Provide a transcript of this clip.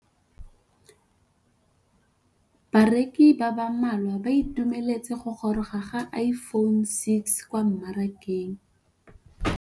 Bareki ba ba malwa ba ituemeletse go gôrôga ga Iphone6 kwa mmarakeng.